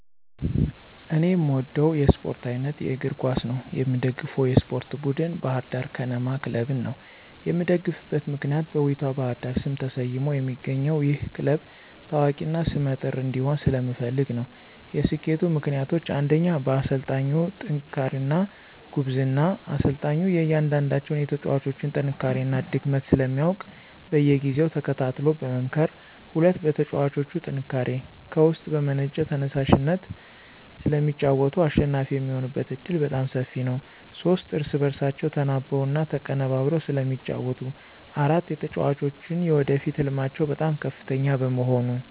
እኔ የምወደው የስፓርት አይነት የእግር ኳስ ነው። የምደግፈውም የስፓርት ቡድን ባህር ዳር ከነማ ክለብን ነው። የምደግፍበት ምክንያት በውቢቷ ባህር ዳር ስም ተሰይሞ የሚገኘው ይህ ክለብ ታዋቂ እና ሰመ ጥር እንዲሆን ስለምፈልግ ነው። የሰኬቱ ምክንያቶች ፩) በአሰልጣኙ ጥንክርና እና ጉብዝና፦ አሰልጣኙ የእያንዳንዳቸውን የተጫዋጮች ጥንካሬ እና ድክመት ስለሚያውቅ በየጊዜው ተከታትሎ በመምከር። ፪) በተጫዋቾቹ ጥንካሬ፦ ከውስጥ በመነጨ ተየሳሽነት ስለሚጫወቱ አሸናፊ የሚሆኑበት ዕድል በጣም ሰፊ ነው። ፫) እርስ በእርሳቸው ተናበው እና ተቀነበብረው ስለሚጫወቱ። ፬) የተጫዋጮች የወደፊት ህልማቸው በጣም ከፍተኛ በመሆኑ።